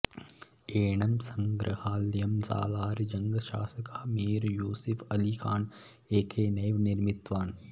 एनं सङ्ग्रहालयं सालार् जङ्ग् शासकः मीर् यूसिफ् अलिखान् एकैनेव निर्मितवान्